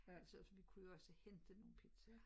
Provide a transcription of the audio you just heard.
Men så vi kunne jo også hente nogle pizzaer